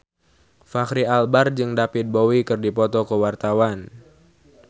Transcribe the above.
Fachri Albar jeung David Bowie keur dipoto ku wartawan